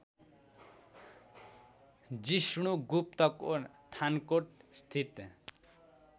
जिष्णुगुप्तको थानकोट स्थित